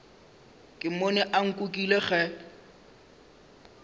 ke mmone a nkukile ge